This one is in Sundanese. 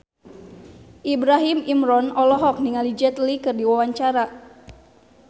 Ibrahim Imran olohok ningali Jet Li keur diwawancara